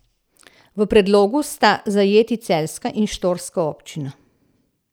V predlogu sta zajeti celjska in štorska občina.